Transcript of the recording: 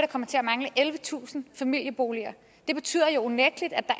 kommer til at mangle ellevetusind familieboliger det betyder jo unægteligt at der